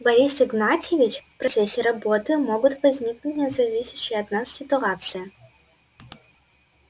борис игнатьевич в процессе работы могут возникнуть независящие от нас ситуации